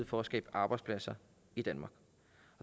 for at skabe arbejdspladser i danmark